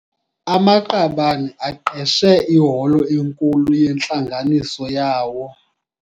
Amaqabane aqeshe iholo enkulu yentlanganiso yawo.